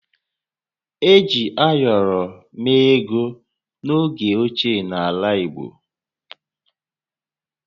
Eji ayọrọ mee ego n’oge ochie n’ala Igbo